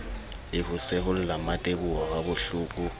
le ho seholla mmateboho habohloko